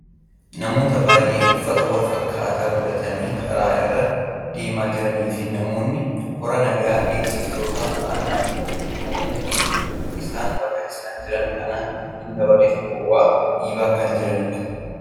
namoota baayyee uffata wal fakkaataa godhatanii karaa irra deemaa jiraniifi namoonni kora naga eegsiftoota ta'an ammoo namoonni kunneen akka isaan bakka isaan jiran kana hin dabarreef dhoowwaa , dhiibaa kan jiranidha.